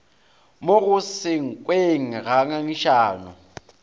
mo go senkweng ga ngangišano